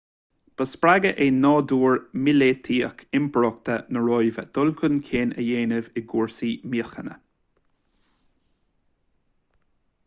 ba spreagadh é nádúr míleataíoch impireacht na róimhe chun dul chun cinn a dhéanamh i gcúrsaí míochaine